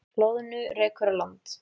Loðnu rekur á land